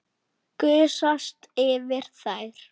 Gusast yfir þær.